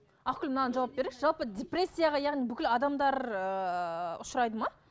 ақгүл мынаған жауап беріңізші жалпы депрессияға яғни бүкіл адамдар ыыы ұшырайды ма